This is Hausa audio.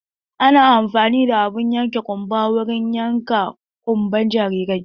Ana amfani da abun yankan ƙunba wurin yanka ƙunban jarirai.